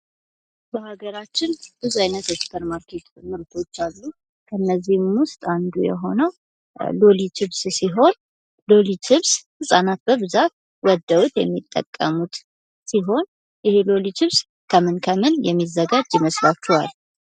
በሀገራችን ብዙ አይነት የሱፐር ማርኬት ምርቶች አለ። ከነዚህም ውስጥ አንዱ የሆነው ሎሊ ችፕስ ሲሆን ሎሊ ችፕስ ህጻናት በብዛት ወደውት የሚጠቀሙት ሲሆን ይሄ ሎሊ ችፕስ ከምን ከምን የሚዘጋጅ ይመስላችኋል?